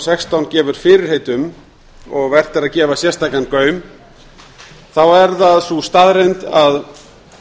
sextán gefur fyrirheit um og vert er að gefa sérstakan gaum er það sú staðreynd að